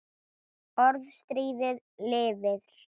Orðstír lifir.